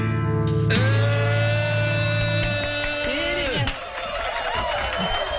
ей керемет